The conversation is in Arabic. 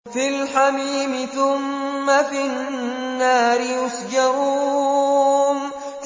فِي الْحَمِيمِ ثُمَّ فِي النَّارِ يُسْجَرُونَ